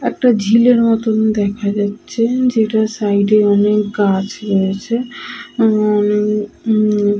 একটা ঝিলের মতন দেখা যাচ্ছে যেটার সাইডে অনেক গাছ আছে উম-ম-ম।